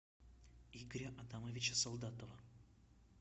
игоря адамовича солдатова